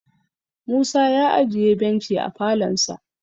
Musa ya ajiye benchi a falonsa